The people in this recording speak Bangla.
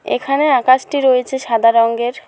এখানে আকাশটি রয়েছে সাদা রঙ্গের।